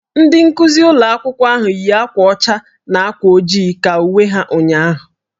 Ndị nkuzi ụlọ akwụkwọ ahụ yi akwa ọcha na akwa ojii ka uwe ha ụnyahụ.